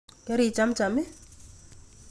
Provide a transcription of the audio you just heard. Kerichamchai?